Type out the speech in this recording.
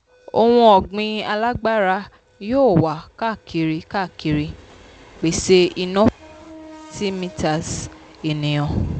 ohunọ̀gbìn alágbára yóò wà káàkiri káàkiri pèsè iná fún 30m ènìyàn.